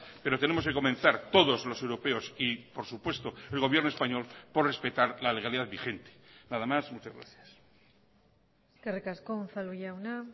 pero tenemos que comenzar todos los europeos y por supuesto el gobierno español por respetar la legalidad vigente nada más muchas gracias eskerrik asko unzalu jauna